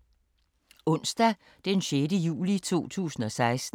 Onsdag d. 6. juli 2016